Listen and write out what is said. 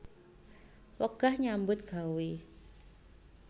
Wegah nyambut gawé